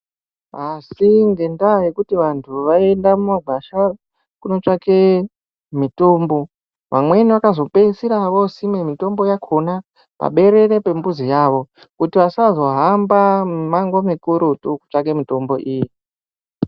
Asi ngendaa yekuti vantu vaienda mumagwasha kunotsvake mitombo, amweni vakazopeisira vosima mitombo yakona paberere pembuzi yavo kuti asazohamba imango mikurutu kutsvake mitombo iyi .